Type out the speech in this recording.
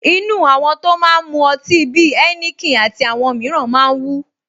Inú àwọn tó máa ń mu ọtí bí i Heineken àti àwọn mìíràn máa ń wú